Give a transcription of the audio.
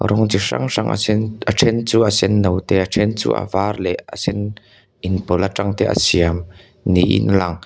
rawng chi hrang hrang a sen a then chu a sen no te a then chu a var leh a sen inpawlh atang te a siam niin a lang--